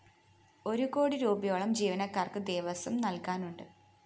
ഒരു കോടി രൂപയോളം ജീവനക്കാര്‍ക്ക് ദേവസ്വം നല്‍കാനുണ്ട്